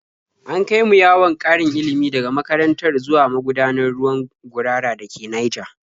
An kai mu yawon ƙarin ilimi daga makaranta zuwa magudanar ruwan Gurara da ke Naija.